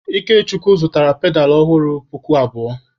Ikechukwu zụtara pedalụ ọhụrụ puku abụọ.